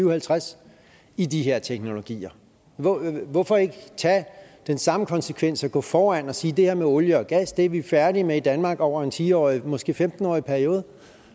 og halvtreds i de her teknologier hvorfor ikke tage den samme konsekvens og gå foran og sige det her med olie og gas er vi færdige med i danmark over en ti årig måske femten årig periode